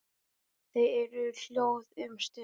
Þau eru hljóð um stund.